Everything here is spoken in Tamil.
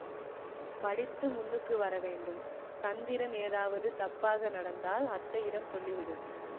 படித்து முன்னுக்கு வரவேண்டும் சந்திரன் ஏதாவது தப்பாக நடந்தால் அத்தையிடம் சொல்லிவிடு